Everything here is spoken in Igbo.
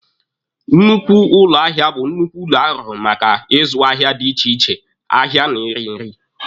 Nnukwu ụlọ ahịa bụ nnukwu ụlọ arụrụ maka ịzụ ahịa dị iche iche ahịa na ịrị nri.